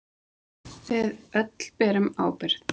Við öll berum ábyrgð.